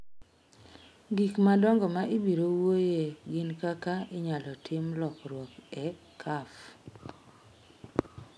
Gik madongo ma ibiro wuoyoe gin kaka inyalo timo lokruok e Caf.